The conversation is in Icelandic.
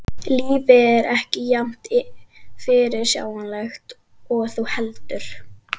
Lífið er ekki jafn fyrirsjáanlegt og þú heldur.